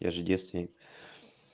я же девственник